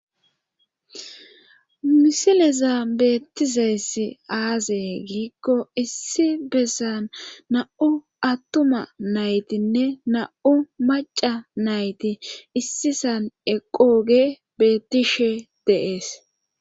misilezan beettizayssi aaze giikko issi bessan na7u attuma naytinne na7u maca nayti issisan eqooge beettishe de7ees